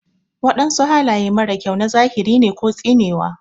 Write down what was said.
Wadansu halaye mara kyau na zahiri ne ko tsinewa.